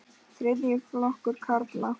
Þriðji flokkur karla.